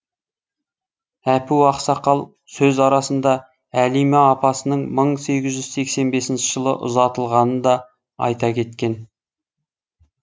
әпу ақсақал сөз арасында әлима апасының мың сегіз жүз сексен бесінші жылы ұзатылғанын да айта кеткен